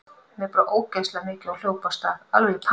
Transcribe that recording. Mér brá ógeðslega mikið og hljóp af stað, alveg í paník.